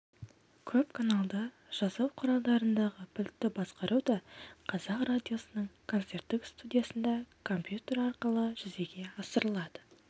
көп каналды жазу құралдарындағы пультті басқару да қазақ радиосының концерттік студиясында компьютер арқылы жүзеге асырылады